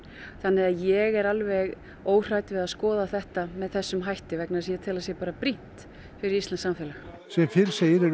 þannig að ég er alveg óhrædd við að skoða þetta með þessum hætti vegna þess að ég tel að það sé bara brýnt fyrir íslenskt samfélag sem fyrr segir er